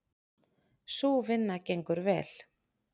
Sú vinna gengur vel.